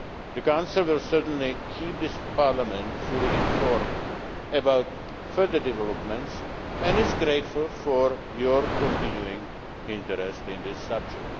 The Council will certainly keep this Parliament fully informed about further developments and is grateful for your continuing interest in this subject.